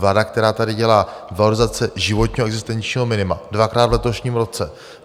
Vláda, která tady dělá valorizace životního existenčního minima dvakrát v letošním roce.